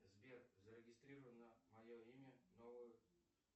сбер зарегистрируй на мое имя новую